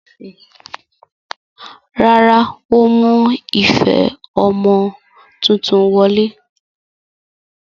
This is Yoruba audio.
Rárá, ó mú ife ọmọ tuntun wọlé.